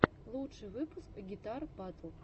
лучший выпуск гитар батл